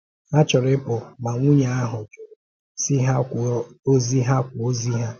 Ha chọrọ ịpụ, ma nwunye ahụ jụrụ, sị ha kwuo ozi ha kwuo ozi ha.